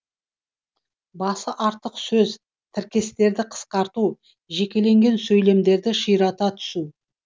басы артық сөз тіркестерді қысқарту жекелеген сөйлемдерді ширата түсу